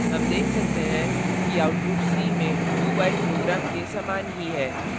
हम देख सकते हैं कि output c में do while program के समान ही है